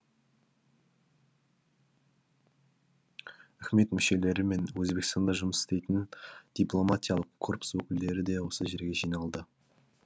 үкімет мүшелері мен өзбекстанда жұмыс істейтін дипломатиялық корпус өкілдері де осы жерге жиналды